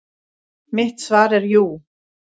Mitt svar er jú.